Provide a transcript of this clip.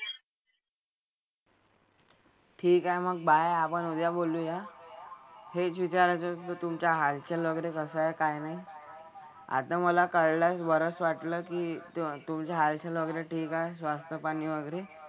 ठीक आहे मग बाय. आपण उद्या बोलूया. हेच विचारायचं होतं तुमचं हालचाल वगैरे कसं आहे काय नाही. आता मला कळलं. बरंच वाटलं की तू तुमचं हालचाल वगैरे ठीक आहे. स्वास्थ्यपाणी वगैरे.